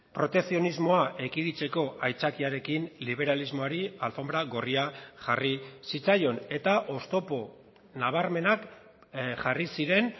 protekzionismoa ekiditeko aitzakiarekin liberalismoari alfonbra gorria jarri zitzaion eta oztopo nabarmenak jarri ziren